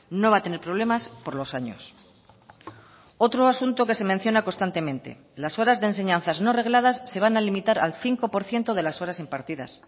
no va a tener problemas por los años otro asunto que se menciona constantemente las horas de enseñanzas no regladas se van a limitar al cinco por ciento de las horas impartidas